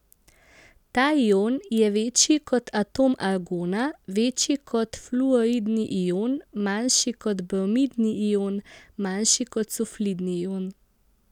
Ta ion je večji kot atom argona, večji kot fluoridni ion, manjši kot bromidni ion, manjši kot sulfidni ion.